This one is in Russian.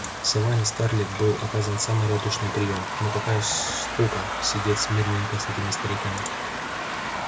в саванне скарлетт был оказан самый радушный приём но какая скука сидеть смирненько с этими стариками